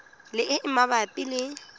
le e e mabapi le